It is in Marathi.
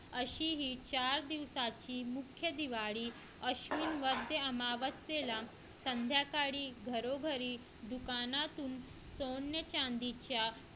असेही चार दिवसाची मुख्य दिवाळी अश्विन वैद्य अमावस्येला संध्याकाळी घरोघरी दुकानातून सोने-चांदीच्या